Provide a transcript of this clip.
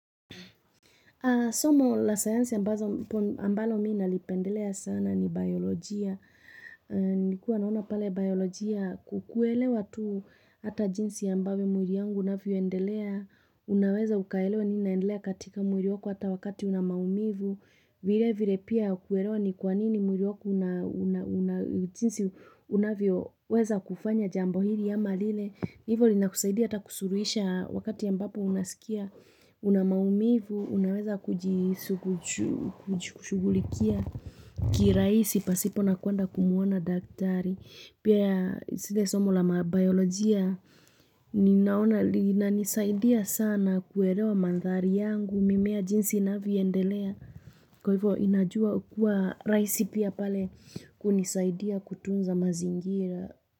Somo la science ambazo ambalo mimi nalipendelea sana ni biolojia. Nikuwa naona pale biolojia kukuelewa tu hata jinsi ambayo mwili yangu unavyoendelea. Unaweza ukaelewa nini inaendelea katika mwili wako hata wakati una maumivu. Vile vile pia kuerewa ni kwa nini mwili wako una jinsi unavyoweza kufanya jambo hili ama lile. Hivo linakusaidia hata kusuruisha wakati ambapo unasikia una maumivu, unaweza kujishugulikia kiraisi pasipo na kwenda kumuona daktari. Pia sile somo la biolojia, ninaona, linanisaidia sana kuerewa mandhari yangu, mimea jinsi inavyoendelea, kwa hivyo inajua kua rahisi pia pale kunisaidia kutunza mazingira.